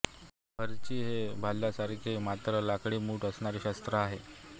बर्ची हे एक भाल्यासारखे मात्र लाकडी मूठ असणारे शस्त्र आहे